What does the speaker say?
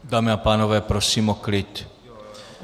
Dámy a pánové, prosím o klid!